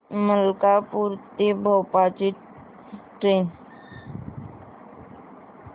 मलकापूर ते भोपाळ ची ट्रेन